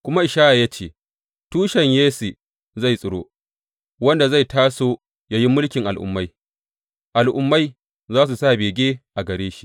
Kuma Ishaya ya ce, Tushen Yesse zai tsiro, wanda zai taso yă yi mulkin al’ummai; al’ummai za su sa bege a gare shi.